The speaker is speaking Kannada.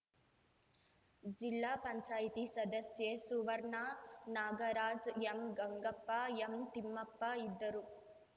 ಜಿಲ್ಲಾ ಪಂಚಾಯತ್ ಸದಸ್ಯೆ ಸುವರ್ಣ ನಾಗರಾಜ್ ಎಂಗಂಗಪ್ಪ ಎಂತಿಮ್ಮಪ್ಪ ಇದ್ದರು